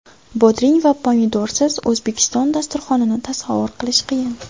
Bodring va pomidorsiz o‘zbek dasturxonini tasavvur qilish qiyin.